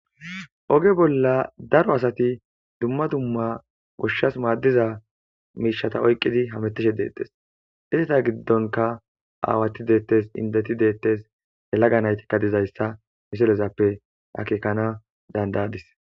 oge bolla daro asati dumma dumma goshshas maaddiza miishata oyqqidi hamettishe deettes isata giddonka aawati deettes indeti deettes he laga naytikka dizayssa misolezappe akekana dandayadis